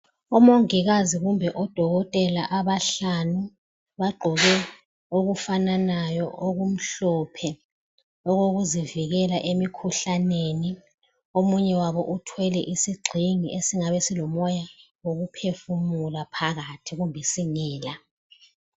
omongikazi kumbe odokotela abahlanu bagqoke okufananayo okumhlophe okokuzivikela emikhuhlaneni omunye wabo uthwele isigxingi esingabe silomoya wokuphefumula phakathi kumbe singela